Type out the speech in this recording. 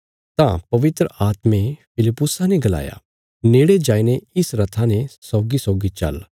तां पवित्र आत्मे फिलिप्पुसा ने गलाया नेड़े जाईने इस रथा ने सौगीसौगी चल्ल